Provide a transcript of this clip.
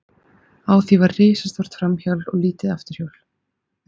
Á því var risastórt framhjól og lítið afturhjól.